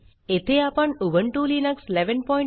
येथे आपण Ubuntu Linux 1110